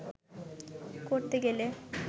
করতে গেলে